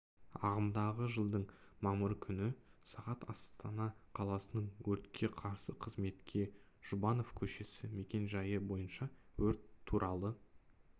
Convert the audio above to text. ағымдағы жылдың мамыры күні сағат астана қаласының өртке қарсы қызметке жұбанов көшесі мекен-жайы бойынша өрт туралы